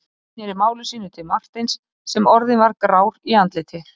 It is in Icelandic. Ari sneri máli sínu til Marteins sem orðinn var grár í andliti.